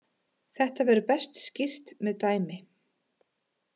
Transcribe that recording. Þetta verður best skýrt með dæmi.